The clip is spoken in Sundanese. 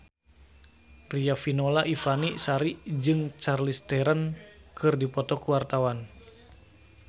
Riafinola Ifani Sari jeung Charlize Theron keur dipoto ku wartawan